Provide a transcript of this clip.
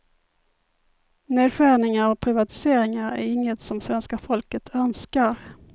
Nedskärningar och privatiseringar är inget som svenska folket önskar.